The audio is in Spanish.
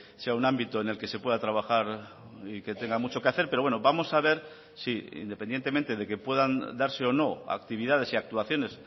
sea un ámbito en el que se pueda trabajar y que tenga mucho que hacer pero bueno vamos a ver si independientemente de que puedan darse o no actividades y actuaciones